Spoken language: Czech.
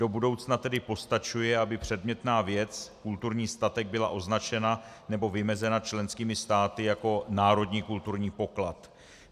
Do budoucna tedy postačuje, aby předmětná věc, kulturní statek, byla označena nebo vymezena členskými státy jako národní kulturní poklad.